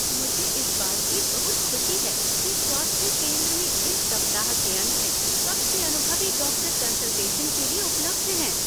मुझे इस बात की बहुत खुशी है कि स्वास्थ्य केंद्र में इस सप्ताह के अंत में सबसे अनुभवी डॉक्टर कंसल्टेशन के लिए उपलब्ध हैं।